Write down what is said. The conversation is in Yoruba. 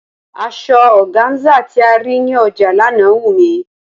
Asọ ọgáńsà tí a rí ní ọjà lánàá wù mí.